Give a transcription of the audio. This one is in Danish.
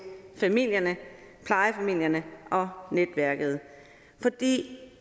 familierne plejefamilierne og netværket for det